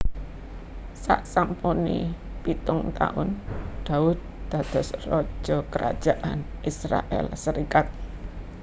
Saksampune pitung taun Daud dados raja Kerajaan Israèl serikat